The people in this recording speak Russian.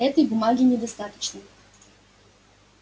этой бумаги недостаточно